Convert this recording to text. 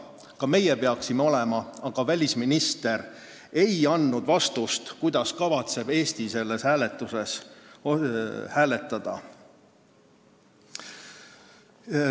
Ka meie peaksime seal olema, aga välisminister ei andnud vastust, kuidas kavatseb Eesti selles küsimuses hääletada.